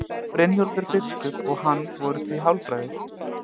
Brynjólfur biskup og hann voru því hálfbræður.